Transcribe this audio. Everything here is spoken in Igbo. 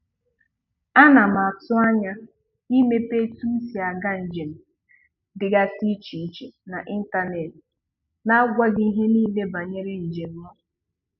Ana m atụ anya imepe etu m si Aga njem dịgasị iche iche na ịntanetị na-agwa gị ihe niile banyer njem m